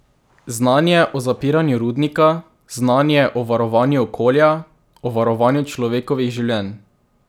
Znanje o zapiranju rudnika, znanje o varovanju okolja, o varovanju človeških življenj...